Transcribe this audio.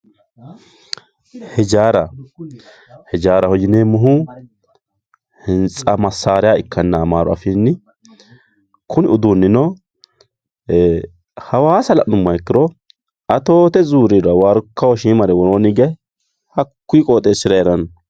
hijaara hijaaraho yineemohu hintsa masaariya ikkanna amaru afiinni kuni uduunino hawaasa la'numoha ikkiro atoote zuuriira warkaho shiimare worooni hige hakkuyii qooxeesira heeranno.